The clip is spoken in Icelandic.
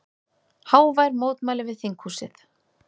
Hávær mótmæli við þinghúsið